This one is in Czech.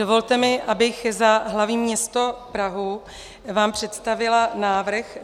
Dovolte mi, abych za hlavní město Prahu vám představila návrh